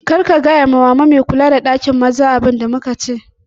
Kar ka gaya wa ma me kula da ɗakin maza abun da muka ce